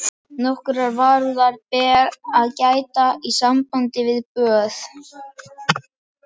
Nokkurrar varúðar ber að gæta í sambandi við böð